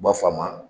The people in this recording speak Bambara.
U b'a fɔ a ma